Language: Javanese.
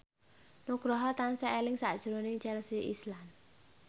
Nugroho tansah eling sakjroning Chelsea Islan